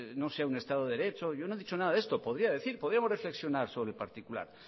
no sea estado de derecho yo no he dicho nada de esto podría decir podríamos reflexionar sobre el particular